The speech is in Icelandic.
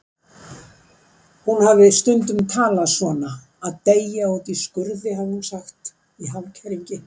Hún hafði stundum talað svona: að deyja úti í skurði, hafði hún sagt, í hálfkæringi.